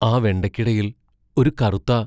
ആ വെണ്ടയ്ക്കിടയിൽ ഒരു കറുത്ത